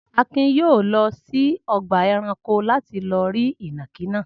Akin yóò lọ sí ọgbà-ẹranko láti lọ rí ìnàkí náà.